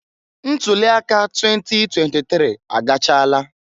Ntuli aka 2023 agachala.